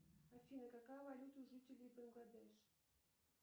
афина какая валюта у жителей бангладеш